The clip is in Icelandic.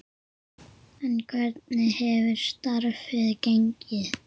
En hvernig hefur starfið gengið?